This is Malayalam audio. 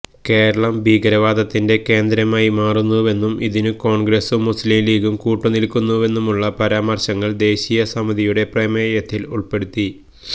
കേരളം ഭീകരവാദത്തിന്റെ കേന്ദ്രമായി മാറുന്നുവെന്നും ഇതിനു കോണ്ഗ്രസും മുസ്ലിം ലീഗും കൂട്ടുനില്ക്കുന്നുവെന്നുമുള്ള പരാമര്ശങ്ങള് ദേശീയ സമിതിയുടെ പ്രമേയത്തില് ഉള്പ്പെടുത്തി